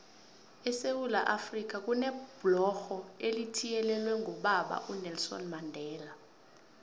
esewula afrika kunebhlorho elithiyelelwe ngobaba unelson mandela